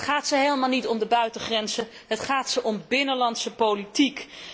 Het gaat ze helemaal niet om de buitengrenzen, het gaat ze om binnenlandse politiek.